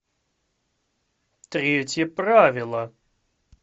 третье правило